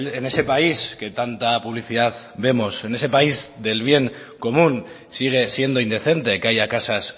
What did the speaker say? en ese país que tanta publicidad vemos en ese país del bien común sigue siendo indecente que haya casas